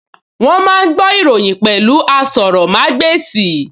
Wọ́n máa ń gbọ́ ìròyìn pẹ̀lú asọrọ̀mágbèsì